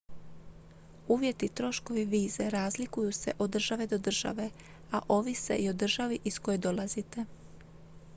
uvjeti i troškovi vize razlikuju se od države do države a ovise i o državi iz koje dolazite